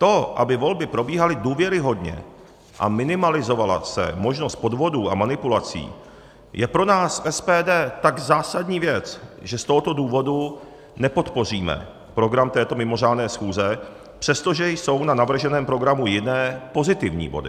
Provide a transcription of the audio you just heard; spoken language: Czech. To, aby volby probíhaly důvěryhodně a minimalizovala se možnost podvodů a manipulací, je pro nás, SPD, tak zásadní věc, že z tohoto důvodu nepodpoříme program této mimořádné schůze, přestože jsou na navrženém programu jiné, pozitivní body.